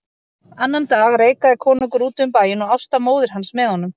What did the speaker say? Annan dag reikaði konungur úti um bæinn og Ásta móðir hans með honum.